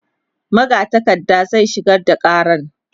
magatakarda zai shigar da karan